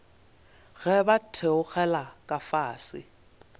ge ba theogela ka fase